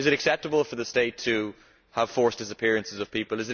Is it acceptable for the state to have forced disappearances of people?